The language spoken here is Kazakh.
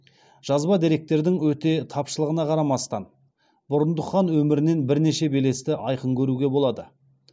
жазба деректердің өте тапшылығына қарамастан бұрындық хан өмірінен бірнеше белесті айқын көруге болады